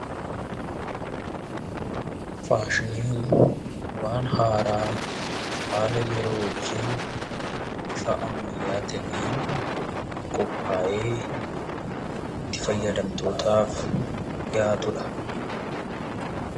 Faashiniin waan haaraa haala yeroo wajjin bifa ammayyaa ta'een qophaa'ee itti fayyadamtootaaf dhiyaatu dha.